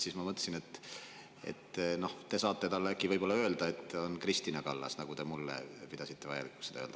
Siis ma mõtlesin, et noh, te saate talle äkki öelda, et on Kristina Kallas, nagu te pidasite vajalikuks mulle öelda.